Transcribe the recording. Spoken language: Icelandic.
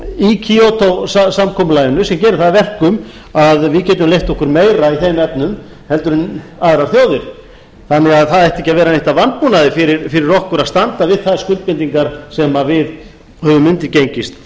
í kyoto samkomulaginu sem gerir það að verkum að við getum leyft okkur meira í þeim efnum heldur en aðrar þjóðir þannig að það ætti ekki að vera neitt að vanbúnaði fyrir okkur að standa við þær skuldbindingar sem við höfum undirgengist þar